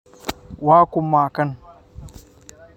Waa kuma kan?